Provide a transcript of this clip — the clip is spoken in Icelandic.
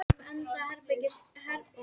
Birnir